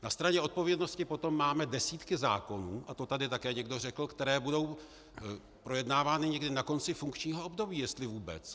Na straně odpovědnosti potom máme desítky zákonů, a to tady také někdo řekl, které budou projednávány někdy na konci funkčního období, jestli vůbec.